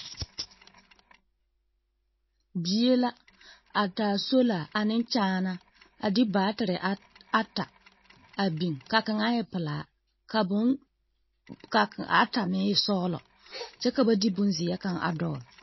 Bie la, a taa sola ane kyaanaa a de baatere a ata a biŋ ka kaŋa e pelaa. ka boŋ ka ata meŋ sͻgelͻ kyԑ ka ba de bonzeԑ kaŋa a dͻͻle.